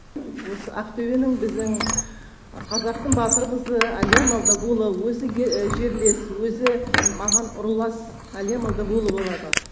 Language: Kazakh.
осы ақтөбенің біздің қазақтың батыр қызы әлия молдағұлова өзі жерлес өзі маған рулас әлия молдағулова болады